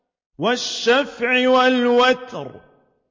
وَالشَّفْعِ وَالْوَتْرِ